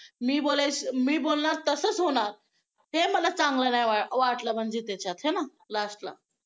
मी बोलायचं मी बोलणार तसंच होणार ते मला चांगलं नाही वाटलं म्हणजे त्याच्यात आहे ना last ला